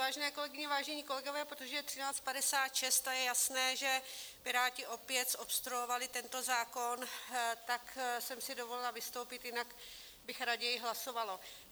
Vážené kolegyně, vážení kolegové, protože je 13.56 a je jasné, že Piráti opět zobstruovali tento zákon, tak jsem si dovolila vystoupit, jinak bych raději hlasovala.